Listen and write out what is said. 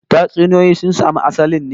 Tatsuniyoyi sun samo asalin ne